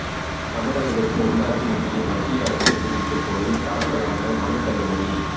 தமிழகத்திற்கு உள்ளாட்சி நிதியை மத்திய அரசு விடுவிக்கக் கோரி தாக்கலான மனு தள்ளுபடி